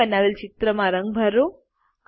તમે બનાવેલ ચિત્રમાં રંગ ભરો